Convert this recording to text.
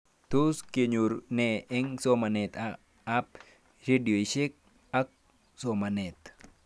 Tos kinyoru nee eng' somanet ab redioshek, ak somanet